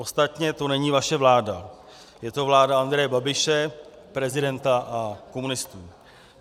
Ostatně to není vaše vláda, je to vláda Andreje Babiše, prezidenta a komunistů.